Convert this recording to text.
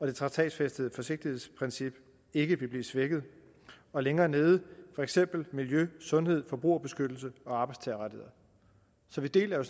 det traktatfæstede forsigtighedsprincip ikke vil blive svækket og længere nede står for eksempel miljø sundhed forbrugerbeskyttelse og arbejdstagerrettigheder så vi deler jo